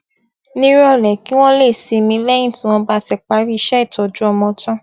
níròlé kí wón lè sinmi léyìn tí wón bá ti parí iṣẹ ìtọjú ọmọ tán